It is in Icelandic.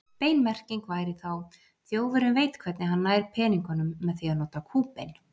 Bein merking væri þá: Þjófurinn veit hvernig hann nær peningunum með því að nota kúbein.